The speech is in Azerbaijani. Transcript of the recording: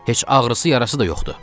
Heç ağrısı yarası da yoxdur.